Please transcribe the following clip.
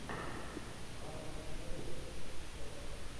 брайтон эвертон счет